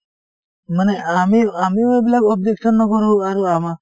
মানে আমি আমিও এইবিলাক objection নকৰো আৰু আমা